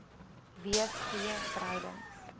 wees goeie verhoudings